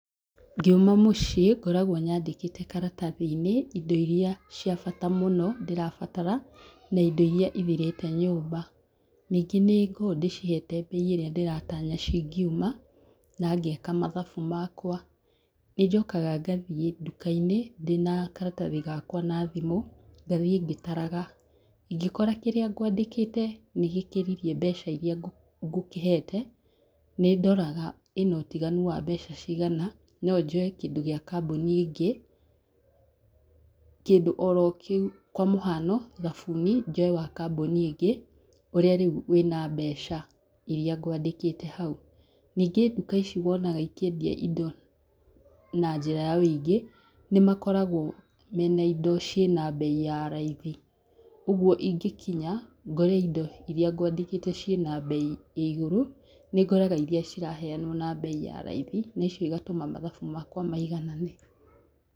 Ngiuma mũciĩ ngoragwo nyandĩkĩte karatathi-inĩ indo iria cia bata mũno ndĩrabatara na indo iria ithirĩte nyũmba. Ningĩ nĩngoo ndĩcihete mbei ĩrĩa ndĩratanya cingiuma na ngeka mathabu makwa. Nĩnjokaga ngathiĩ nduka-inĩ ndĩna karatathi gakwa na thimũ ngathiĩ ngĩtaraga, ingĩkora kĩrĩa ngwandĩkĩte nĩgĩkĩririe mbeca iria ngũkĩhete, nĩndoraga ĩna ũtiganu wa mbeca cigana no njoe kĩndũ gĩa kambũni ĩngĩ kĩndũ oro kĩu kwa mũhano, thabuni njoe wa kambũni ĩngĩ ũrĩa rĩu wĩna mbeca iria ngwandĩkĩte hau, ningĩ nduka ici wonaga ikĩendia indo na njĩra ya wĩingĩ nĩmakoragwo me na indo ciĩ na mbei ya raithi, ũguo ingĩkinya ngore indo iria ngwandĩkĩte ciĩna mbei ya igũrũ nĩngũraga iria ciraheanwo na mbei ya raithi, na icio igatũma mathabu makwa maiganane.